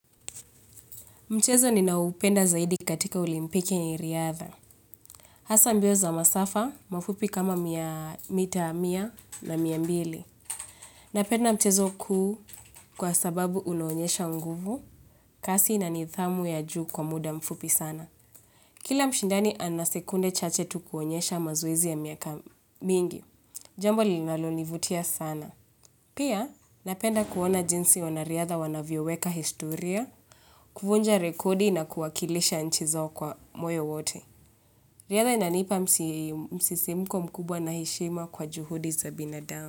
Mchezo ninaoupenda zaidi katika olimpiki ni riadha. Hasa mbio za masafa, mafupi kama miaa mita, mia na miambili. Napenda mchezo kuu kwa sababu unaonyesha unguvu, kasi na nithamu ya juu kwa muda mfupi sana. Kila mshindani ana sekunde chache tu kuonyesha mazoezi ya miaka mingi. Jambo linalonivutia sana. Pia, napenda kuona jinsi wanariadha wanavyoweka historia, kuvunja rekodi na kuwakilisha nchi zao kwa moyo wote. Riadha inanipa msisimko mkubwa na heshima kwa juhudi za binadamu.